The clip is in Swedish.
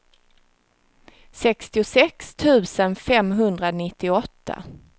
sextiosex tusen femhundranittioåtta